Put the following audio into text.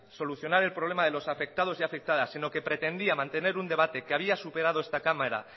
solucionar el problema de los afectados y afectadas sino que pretendía mantener un debate que había superado esta cámara